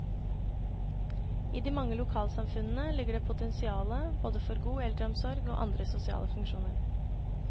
I de mange lokalsamfunnene ligger det potensiale både for god eldreomsorg og andre sosiale funksjoner.